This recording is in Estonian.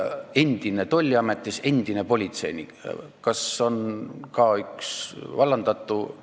Endine tolliameti töötaja, endine politseinik – kas ka üks vallandatutest?